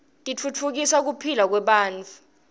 titfutfukisa kipihlakwebantfu